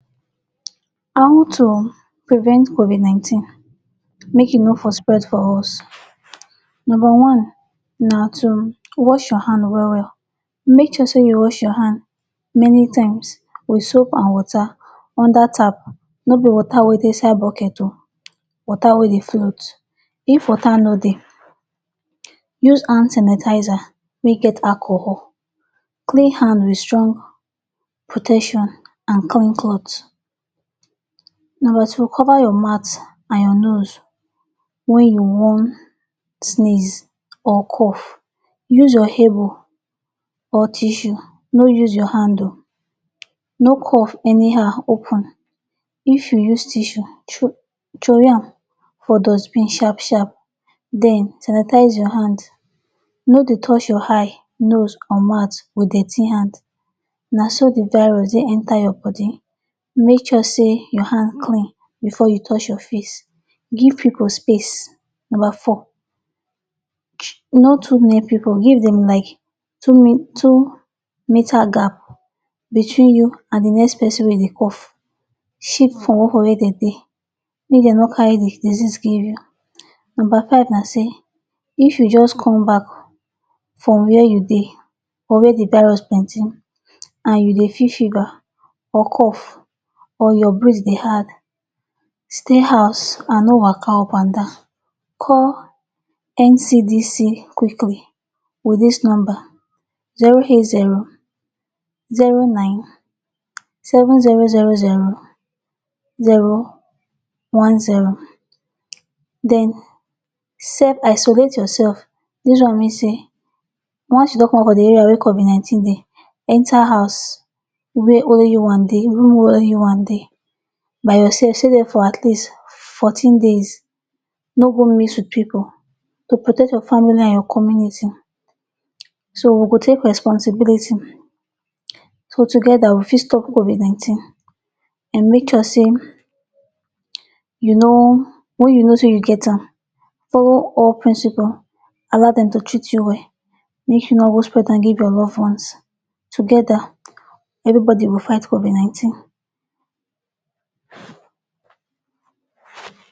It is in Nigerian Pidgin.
How to prevent covid nineteen make e no for spread for us. Nomba one na to wash your hand well-well. Make sure you wash your hand many times with soap an water under tap, no be water wey dey inside bucket oh, water wey dey float. If water no dey, use hand sanitizer wey get alcohol, clean hand with strong protection an clean cloth. Nomba two, cover your mouth an your nose wen you wan sneeze or cough. Use your elbow or tissue. No use your hand oh. No cough anyhow open. If you use tissue, throwway am for dustbin sharp-sharp. Then, sanitize your hand. No dey touch your eye, nose, or mouth with dirty hand. Na so the virus dey enter your body. Make sure sey your hand clean before you touch your face. Give pipu space. Nomba four. No too near pipu, give dem like two two meter gap between you an the next pesin wey dey cough. Shift comot from where dem dey make de no carry the disease give you. Nomba five na sey if you juz come back from where you dey, or where the virus plenty, an you dey feel fever, or cough or your breathe dey hard, stay house an no waka upandan. Call NCDC quickly with dis number: Zero eight zero zero nine seven zero zero zero zero one zero. Then, self isolate yoursef. Dis one mean sey once you don comot for the area wey covid nineteen dey, enter house wey only you wan dey you wan dey. By yoursef stay there for at least fourteen days. No go mix with pipu to protect your family an your community. So we go take responsibility, so together we fit stop covid nineteen. An make sure sey you no wen you know sey you get am, follow all principle, allow dem to treat you well, make you no go spread an give your love ones. Together, everybody go fight covid nineteen.